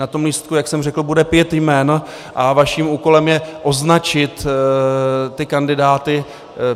Na tom lístku, jak jsem řekl, bude pět jmen a vaším úkolem je označit ty kandidáty.